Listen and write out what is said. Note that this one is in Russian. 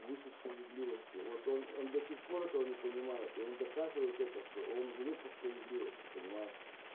выше справедливости вот он до сих пор этого не понимает и он доказывает это что он живёт по справедливости понимаешь